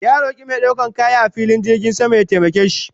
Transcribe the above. Ya roke mai daukan kaya a filin jirgin sama ya taimake shi